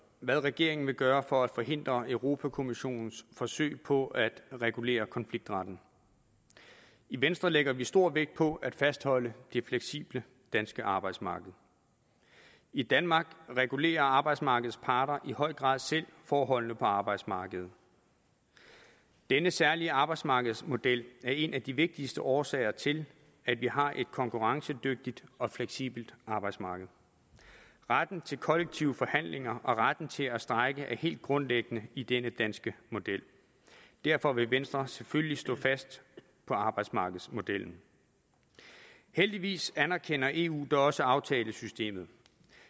hvad regeringen vil gøre for at forhindre europa kommissionens forsøg på at regulere konfliktretten i venstre lægger vi stor vægt på at fastholde det fleksible danske arbejdsmarked i danmark regulerer arbejdsmarkedets parter i høj grad selv forholdene på arbejdsmarkedet denne særlige arbejdsmarkedsmodel er en af de vigtigste årsager til at vi har et konkurrencedygtigt og fleksibelt arbejdsmarked retten til kollektive forhandlinger og retten til at strejke er helt grundlæggende i denne danske model derfor vil venstre selvfølgelig stå fast på arbejdsmarkedsmodellen heldigvis anerkender eu da også aftalesystemet